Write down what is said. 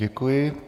Děkuji.